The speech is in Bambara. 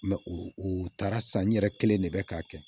u taara san n yɛrɛ kelen de bɛ k'a kɛ